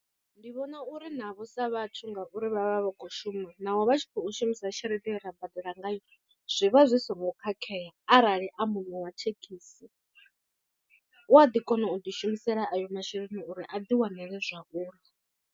Ndi vhona uri navho sa vhathu ngauri vha vha vha khou shuma naho vha tshi khou shumisa tshelede ye ra badela ngayo zwi vha zwi songo khakhea arali a muṋe wa thekhisi u a ḓi kona u ḓishumisela ayo masheleni uri a ḓi wanele zwauḽa.